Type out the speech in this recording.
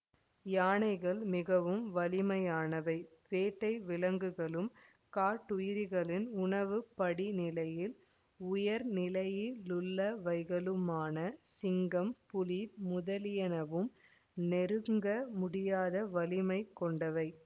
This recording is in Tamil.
யானைகள் மிகவும் வலிமையானவை வேட்டை விலங்குகளும் காட்டுயிர்களின் உணவு படிநிலையில் உயர்நிலையிலுள்ளவைகளுமான சிங்கம் புலி முதலியனவும் நெருங்க முடியாத வலிமை கொண்டவை